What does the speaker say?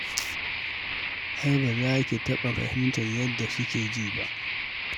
Ai ba za ki taɓa fahimtar yadda suke ji ba